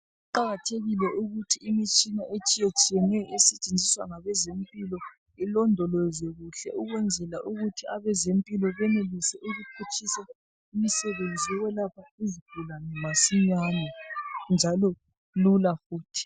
Kuqakathekile ukuthi imitshina etshiya tshiyeneyo esetshenziswa ngabezempilo ilondolozwe kuhle ukwenzela ukuthi abezempilo benelise ukuphutshisa imisebenzi yokwelapha izigulane masinyane njalo lula futhi.